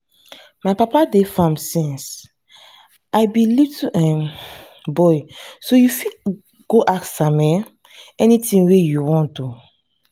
my papa dey farm since i be little um boy so you go fit ask am um anything you want um